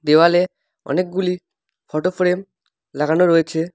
দেওয়ালে অনেকগুলি photo frame লাগানো রয়েছে।